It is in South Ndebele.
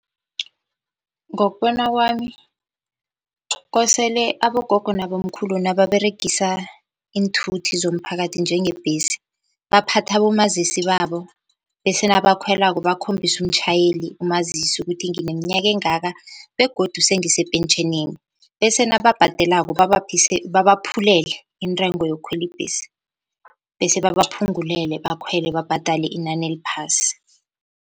Ngokubona kwami kosele abogogo nabomkhulu nababeregisa iinthuthi zomphakathi njengebhesi baphathe abomazisi babo, bese nabakhwelako bakhombise umtjhayeli umazisi ukuthi nginemnyaka engaka begodu sengise pentjheneni, bese nababhadelako babaphulele intengo yokukhwela ibhesi, bese babaphungulele bakhwele babhadale inani eliphasi.